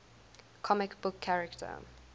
comic book character